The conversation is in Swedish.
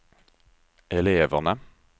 eleverna